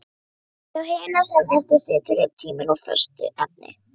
Hjá hinum sem eftir situr er tíminn úr föstu efni.